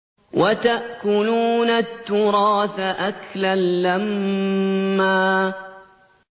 وَتَأْكُلُونَ التُّرَاثَ أَكْلًا لَّمًّا